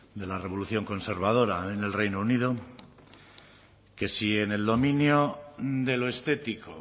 de la revolución conservadora en el reino unido que si en el dominio de lo estético